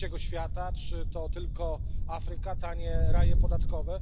Trzeciego Świata, czy to tylko Afryka, tanie raje podatkowe.